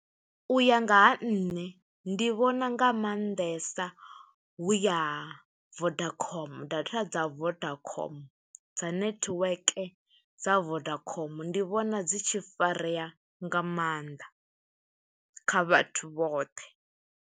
U ya nga ha nṋe, ndi vhona nga maanḓesa hu ya Vodacom, data dza Vodacom, dza netiweke dza Vodacom. Ndi vhona dzi tshi farea nga mannḓa, kha vhathu vhoṱhe.